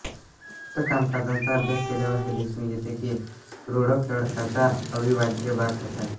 उपरोक्त कामकाजाचा अभ्यास केल्यावर हे दिसून येते की रुडोक लडाखचा अविभाज्य भाग होता